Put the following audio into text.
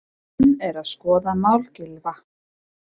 Menn eru að skoða mál Gylfa